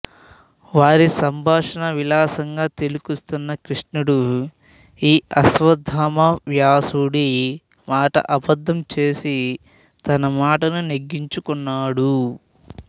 వారి సంభాషణ విలాసంగా తిలకిస్తున్న కృష్ణుడు ఈ అశ్వత్థామ వ్యాసుడి మాట అబద్ధం చేసి తన మాటను నెగ్గించుకున్నాడు